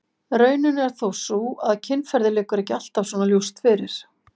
Raunin er þó sú að kynferði liggur ekki alltaf svona ljóst fyrir.